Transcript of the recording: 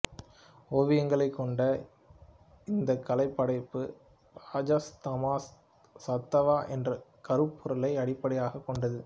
ஓவியங்களைக் கொண்ட இந்தக் கலைப்படைப்பு ரஜஸ் தமஸ் சத்வா என்ற கருப்பொருளை அடிப்படையாகக் கொண்டது